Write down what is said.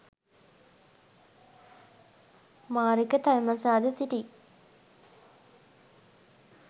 මාරක තල්මසා ද සිටියි.